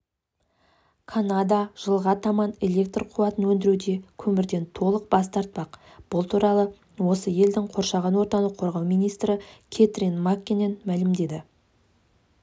канада жылға таман электр қуатын өндіруде көмірден толық бас тартпақ бұл туралы осы елдің қоршаған ортаны қорғау министрі кэтрин маккенен мәлімдеді